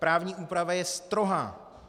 Právní úprava je strohá.